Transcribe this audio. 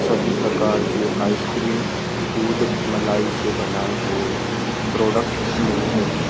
सभी प्रकार के आइसक्रीम दूध मलाई से बनाए हुए प्रोडक्ट मिलते हैं।